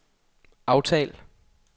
aftal